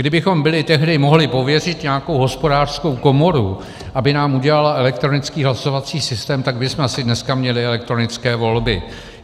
Kdybychom byli tehdy mohli pověřit nějakou hospodářskou komoru, aby nám udělala elektronický hlasovací systém, tak bychom asi dneska měli elektronické volby.